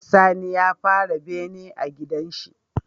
Sani ya fara bene a gidan shi